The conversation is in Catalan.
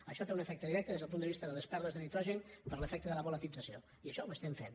això té un efecte directe des del punt de vista de les pèrdues de nitrogen per l’efecte de la volatilització i això ho estem fent